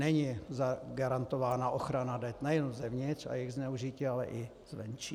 Není garantována ochrana dat nejenom zevnitř a jejich zneužití, ale i zvenčí.